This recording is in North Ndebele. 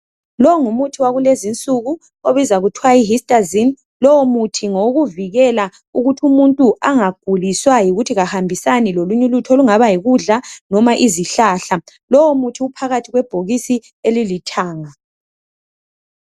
Lowungumuthi wakulezinsuku obizwa kuthwa yihistazine, lowumuthi ngowokuvikela ukuthumuntu angaguliswa yikuthi kahambisani lolunyulutho olungaba yikudla loma izihlahla, lowumuthi uphakathi kwebhokisi elilithanga.